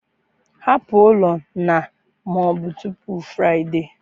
Hapụ ụlọ na ma ọ bụ tupu Friday!